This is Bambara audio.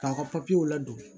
K'a ka papiyew ladon